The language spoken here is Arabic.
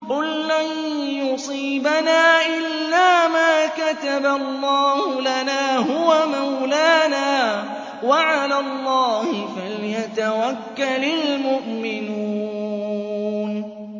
قُل لَّن يُصِيبَنَا إِلَّا مَا كَتَبَ اللَّهُ لَنَا هُوَ مَوْلَانَا ۚ وَعَلَى اللَّهِ فَلْيَتَوَكَّلِ الْمُؤْمِنُونَ